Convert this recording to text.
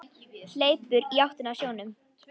Hleypur í áttina að sjónum.